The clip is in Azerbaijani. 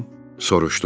Soruşdum.